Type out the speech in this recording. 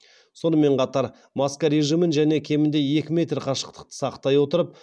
сонымен қатар маска режимін және кемінде екі метр қашықтықты сақтай отырып